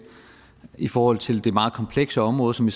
i forhold til det meget komplekse område som